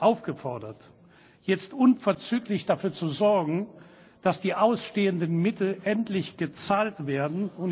aufgefordert, jetzt unverzüglich dafür zu sorgen, dass die ausstehenden Mittel endlich gezahlt werden.